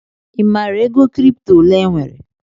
I maara ego kripto ole enwere?